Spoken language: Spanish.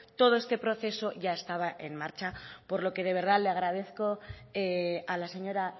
todo este proceso ya estaba en marcha por lo que de verdad le agradezco a la señora